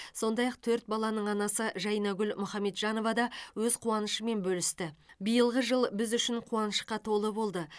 сондай ақ төрт баланың анасы жайнагүл мұхаметжанова да өз қуанышымен бөлісті биылғы жыл біз үшін қуанышқа толы болды